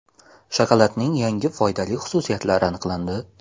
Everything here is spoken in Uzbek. Shokoladning yangi foydali xususiyatlari aniqlandi.